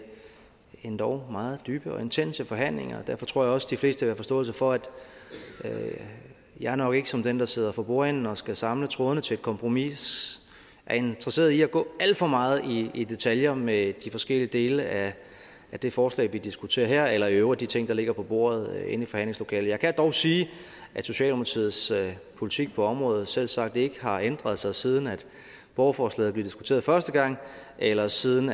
endog meget dybe og intense forhandlinger derfor tror jeg også de fleste vil have forståelse for at jeg nok ikke som den der sidder for bordenden og skal samle trådene til et kompromis er interesseret i at gå alt for meget i i detaljer med de forskellige dele af det forslag vi diskuterer her eller i øvrigt de ting der ligger på bordet inde i forhandlingslokalet jeg kan dog sige at socialdemokratiets politik på området selvsagt ikke har ændret sig siden borgerforslaget blev diskuteret første gang eller siden